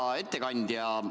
Hea ettekandja!